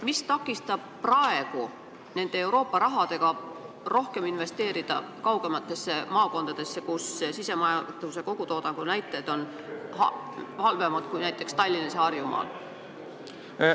Mis takistab praegu neid Euroopa summasid rohkem investeerida kaugematesse maakondadesse, kus sisemajanduse kogutoodangu näitajad on palju halvemad kui näiteks Tallinnas ja üldse Harjumaal?